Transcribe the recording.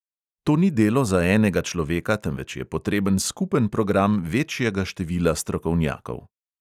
To ni delo za enega človeka, temveč je potreben skupen program večjega števila strokovnjakov.